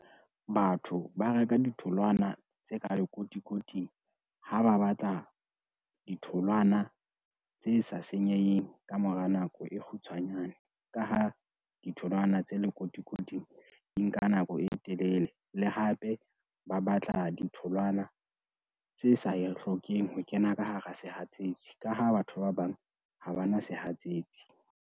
Batho ba reka ditholwana tse ka lekotikoting, ha ba batla ditholwana tse sa senyeheng ka mora nako e kgutshwanyane, ka ha ditholwana tse tse lekotikoting di nka nako e telele le hape ba batla ditholwana tse sa hlokeng ho kena ka hara sehatsetsi, ka ha batho ba bang ha ba na sehatsetsi.